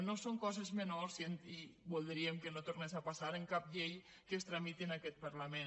no són coses menors i voldríem que no tornés a passar en cap llei que es tramiti en aquest parlament